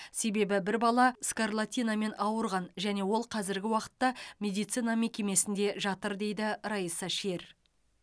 себебі бір бала скарлатинамен ауырған және ол қазіргі уақытта медицина мекемесінде жатыр дейді райса шер